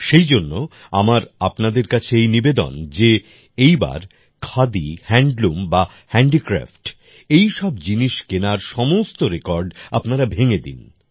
সেইজন্য আমার আপনাদের কাছে এই নিবেদন যে এই বার খাদি হ্যান্ডলুম বা হ্যান্ডিক্রাফট এই সব জিনিস কেনার সমস্ত রেকর্ড আপনারা ভেঙে দিন